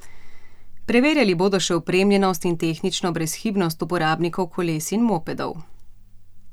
Preverjali bodo še opremljenost in tehnično brezhibnost uporabnikov koles in mopedov.